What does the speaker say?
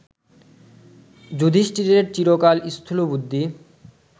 যুধিষ্ঠিরের চিরকাল স্থূলবুদ্ধি